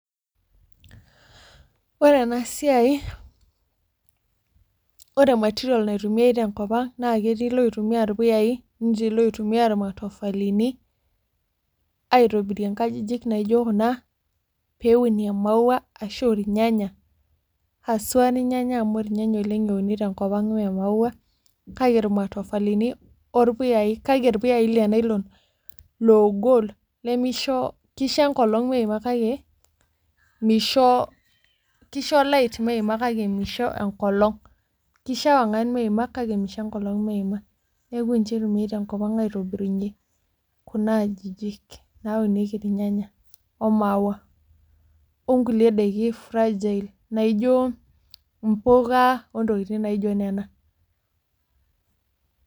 Ore ena siai ore material naitumiae te enkop ang naa ketii loitumia irpuyai netii loitumia irmatofalini aitobirie nkajijik naijo kuna pee eunie mauaa ashu irnyanya asua ninye irnyanya amu irnyanya euni te enkop ang mee mauaa kake irmatofalini or puyayi kake irpuyai Le nylon ogol lemeisho keisho ekolong meiimu kake meisho keisho light meiima kake meisho ekolong kishoo ewangan meima kake meisho ekolong meima neaku ninche eitumiae te enkop ang aitobirunye kuna ajijik naunieki irnyanya oo mauaa o nkulie daiki fragile naijo impuka oo tokitin naijo nena.